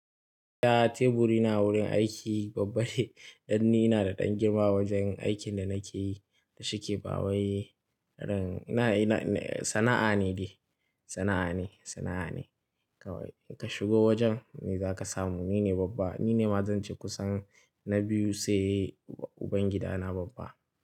Da teburi na wurin aiki babba ne, danni ina da ɗan girma wajen aikin da nake yi da shi ke ba wai Ran-- ina, ina, sana'a ne shi, sana'a ne, sana'a ne. Kawai kashigo wajen ne za ka samu. Ni ne babba, ni ne ma zan ci kusan na biyu sai ubangida na babba.